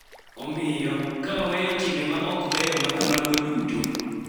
Omiyo, ka waweyo timbe ma ok beyo ma kamago duto .